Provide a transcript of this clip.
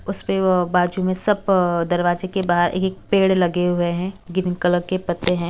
उसपे अ बाजू में सब दरवाजे के बाहर एक एक पेड़ लगे हुए हैं ग्रीन कलर के पत्ते हैं।